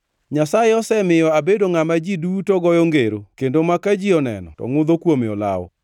“Nyasaye osemiyo abedo ngʼama ji duto goyo ngero kendo ma ka ji oneno to ngʼudho kuome olawo.